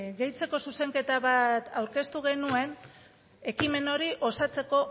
deitzeko zuzenketa bat aurkeztu genuen ekimen hori osatzeko